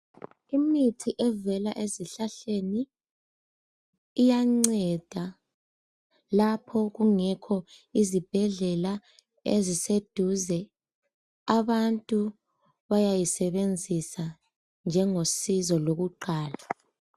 Imithi evela ezihlahleni iyanceda lapho ojungekho izibhedlela eziseduze abantu bayisebenzisa njengosizo lokuqala.